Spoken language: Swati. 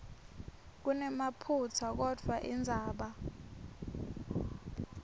kunemaphutsa kodvwa indzaba